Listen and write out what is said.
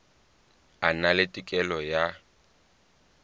a na le tokelo ya